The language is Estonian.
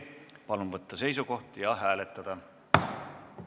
Palun võtta seisukoht ja hääletada!